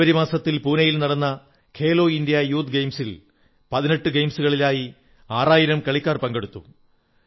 ജനുവരി മാസത്തിൽ പൂനയിൽ നടന്ന ഖേലോ ഇന്ത്യാ യൂത്ത് ഗെയിംസിൽ 18 ഗെയിംസുകളിലായി 6000 കളിക്കാർ പങ്കെടുത്തു